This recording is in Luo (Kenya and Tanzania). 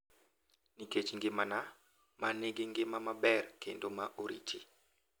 Nikech ngimana ma nigi ngima maber kendo ma oriti.